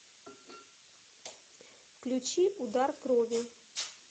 включи удар крови